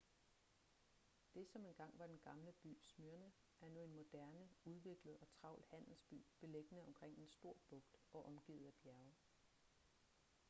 det som engang var den gamle by smyrna er nu en moderne udviklet og travl handelsby beliggende omkring en stor bugt og omgivet af bjerge